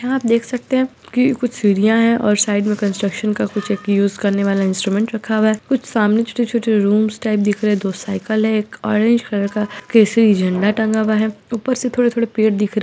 यहाँ आप देख सकते हैं कि कुछ सीढ़ियां हैं और साइड में कंस्ट्रक्शन का कुछ एक यूज करने वाला इंस्ट्रूमेंट रखा हुआ है कुछ सामने छोटे-छोटे रूम्स टाइप दिख रहे हैं दो साइकिल है एक ऑरेंज कलर का केसरी झंडा टंगा हुआ है ऊपर से थोड़े-थोड़े पेड़ दिख र --